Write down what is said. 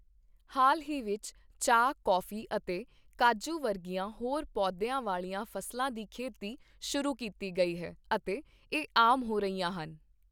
ਹਾਲ ਹੀ ਵਿੱਚ ਚਾਹ, ਕੌਫੀ ਅਤੇ ਕਾਜੂ ਵਰਗੀਆਂ ਹੋਰ ਪੌਦਿਆਂ ਵਾਲੀਆਂ ਫ਼ਸਲਾਂ ਦੀ ਖੇਤੀ ਸ਼ੁਰੂ ਕੀਤੀ ਗਈ ਹੈ ਅਤੇ ਇਹ ਆਮ ਹੋ ਰਹੀਆਂ ਹਨ।